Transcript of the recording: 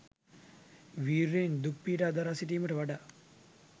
විර්යයෙන් දුක් පීඩා දරා සිටීමට වඩා